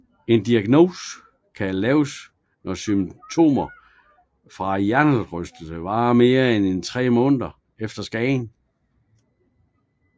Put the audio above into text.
En diagnose kan laves når symptomer fra hjernerystelse varer i mere end tre måneder efter skaden